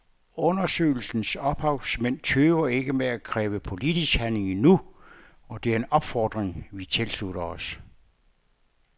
Undersøgelsens ophavsmænd tøver ikke med at kræve politisk handling nu, og det er en opfordring vi tilslutter os.